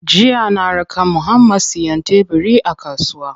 Jiya na raka Muhammad siyan tebiri a kasuwa.